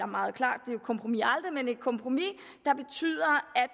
meget klart er et kompromis aldrig men det er et kompromis